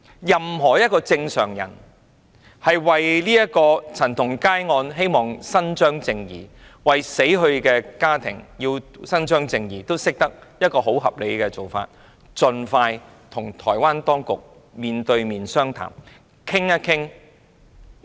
任何正常人皆認為，要就陳同佳案為死者家庭伸張正義，最合理的做法是政府盡快與台灣當局面談，研究處理方法。